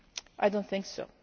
I do not think so.